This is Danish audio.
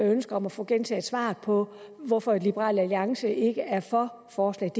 et ønske om at få gentaget svaret på hvorfor liberal alliance ikke er for forslaget